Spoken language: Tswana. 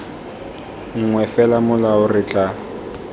nngwe fela molao re tla